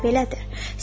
Həqiqətdə də belədir.